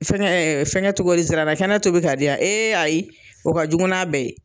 Fɛngɛ fɛngɛ cogo di? Nsirana kɛnɛ tobi k'a di yan, ayi o ka jugu n'a bɛɛ ye